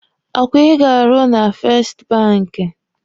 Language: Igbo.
Ọkwa ị ga-arụ na fest banki?